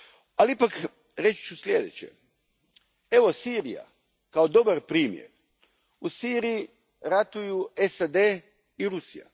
Ali ipak, reći ću sljedeće, evo Sirija, kao dobar primjer. U Siriji ratuju SAD i Rusija.